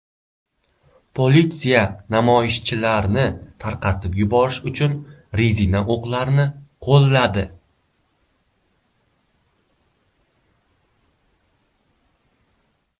Politsiya namoyishchilarni tarqatib yuborish uchun rezina o‘qlarni qo‘lladi.